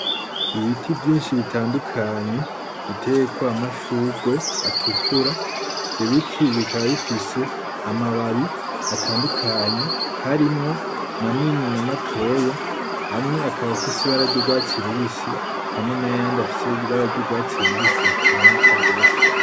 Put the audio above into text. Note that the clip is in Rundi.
Ibiti vyinshi bitandukanye biteyeko amashurwe atukura, ivyo biti bikaba bifise amababi atandukanye harimwo manini na matoya, amwe akaba afise ibara ry'urwatsi rubisi hamwe n'ayandi afise ibara ry'urwatsi rubisi rutaboneka gose.